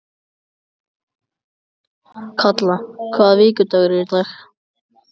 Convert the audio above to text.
Kalla, hvaða vikudagur er í dag?